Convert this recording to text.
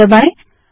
और एंटर दबायें